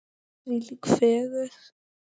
Þvílík fegurð!